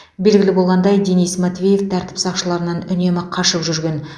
белгілі болғандай денис матвеев тәртіп сақшыларынан үнемі қашып жүрген